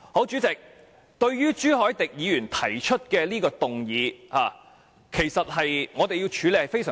主席，朱凱廸議員提出的議案其實難以處理。